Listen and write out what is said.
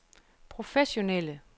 professionelle